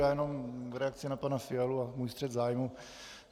Já jenom v reakci na pana Fialu a svůj střet zájmů.